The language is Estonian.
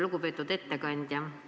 Lugupeetud ettekandja!